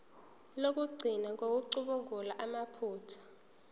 lokugcina ngokucubungula amaphutha